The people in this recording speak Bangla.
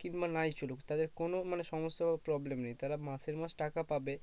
কিংবা নাই চলুক তাদের কোনো মানে সমস্যা problem নেই তারা মাসের মাস টাকা পাবে